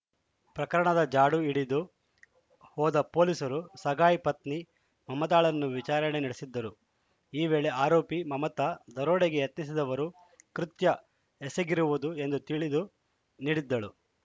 ಪ್ರಕರಣದ ಜಾಡು ಹಿಡಿದು ಹೋದ ಪೊಲೀಸರು ಸಗಾಯ್‌ ಪತ್ನಿ ಮಮತಾಳನ್ನು ವಿಚಾರಣೆ ನಡೆಸಿದ್ದರು ಈ ವೇಳೆ ಆರೋಪಿ ಮಮತಾ ದರೋಡೆಗೆ ಯತ್ನಿಸಿದವರು ಕೃತ್ಯ ಎಸಗಿರುವುದು ಎಂದು ತಿಳಿದು ನೀಡಿದ್ದಳು